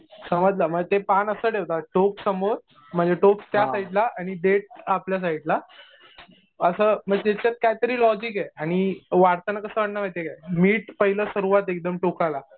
समजलं म्हणजे ते पान असं ठेवतात टोक समोर म्हणजे टोक त्या साईडला आणि देठ आपल्या साईडला. असं म्हणजे त्याच्यात काहीतरी लॉजिक आहे. आणि वाढताना कसं वाढणार माहितीये का मीठ पाहिलं सर्वात एकदम टोकाला.